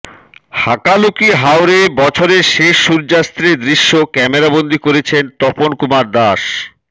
হাকালুকি হাওরে বছরের শেষ সূর্যাস্তের দৃশ্য ক্যামেরাবন্দি করেছেন তপন কুমার দাস